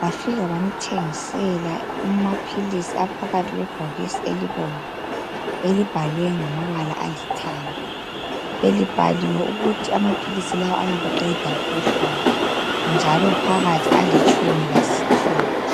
Bafika bamthengisela amaphilisi aphakathi kwebhokisi elibomvu, elibhalwe mgamabala alithanga. Belibhaliwe ukuthi amaphilisi la ayabuqeda ubuhlungu, njalo phakathi alitshumi lasithupha.